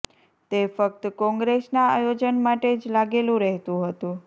તે ફક્ત કોંગ્રેસના આયોજન માટે જ લાગેલું રહેતું હતું